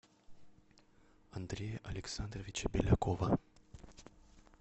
андрея александровича белякова